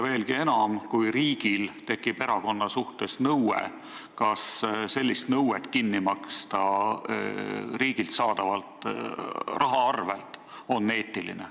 Veelgi enam: kui riigil tekib erakonna vastu nõue, kas on eetiline see kinni maksta riigilt saadava rahaga?